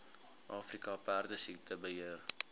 afrika perdesiekte beheer